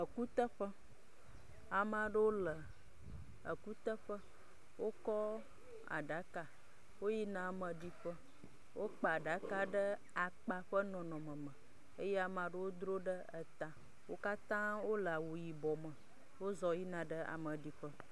Ekuteƒe. Ame aɖewo le ekuteƒe. Wokɔ aɖaka woyi na ame ɖi ƒe. Wokpa aɖaka ɖe akpa ƒe nɔnɔme me eye ame aɖewo drɔe ɖe eta. Wokatã wo le awu yibɔ me. Wo z yina ɖe ameɖiƒe.